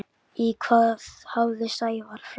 Í hvað hafði Sævar flækst?